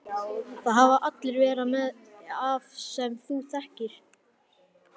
Það hafa allir verra af sem þú þekkir!